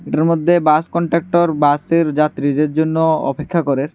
এটার মদ্যে bus conductor bus -এর যাত্রীদের জন্য অপেক্ষা করে।